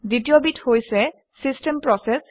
দ্বিতীয়বিধ হৈছে system process